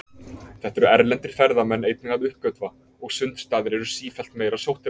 Þetta eru erlendir ferðamenn einnig að uppgötva, og sundstaðir eru sífellt meira sóttir af þeim.